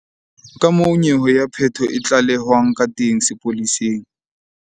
Kamoo nyewe ya peto e tlalehwang ka teng sepoleseng.